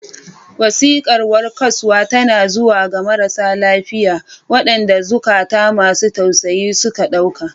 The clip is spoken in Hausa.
Wasiƙar warkaswa tana zuwa ga marasa lafiya, waɗanda zukata masu tausayi suke ɗauka.